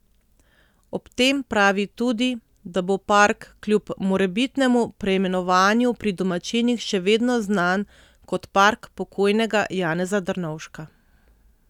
Ob tem pravi tudi, da bo park kljub morebitnemu preimenovanju pri domačinih še vedno znan kot park pokojnega Janeza Drnovška.